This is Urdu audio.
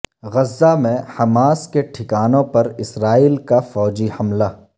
غزہ میں حماس کے ٹھکانوں پر اسرائیل کا فوجی حملہ